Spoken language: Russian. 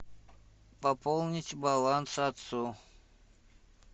пополнить баланс отцу